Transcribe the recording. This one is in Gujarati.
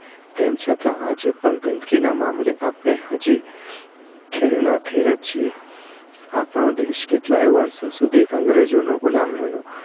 તેમ છતાં આજે પણ ગંદકી ના મામલે આપણે હજી ઠેર નાં ઠેર જ છે આપનો દેશ કેટલાય વર્ષો સુધી અંગ્રેજો નો ગુલામ રહ્યો